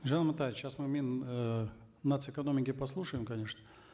елжан амантаевич сейчас мы мин э нац экономики послушаем конечно